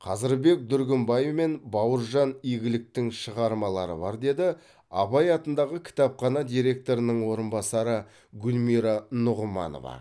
қазырбек дүргінбай мен бауыржан игіліктің шығармалары бар деді абай атындағы кітапхана директорының орынбасары гүлмира нұғыманова